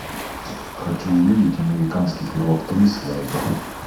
хочу увидеть американский пирог три свадьба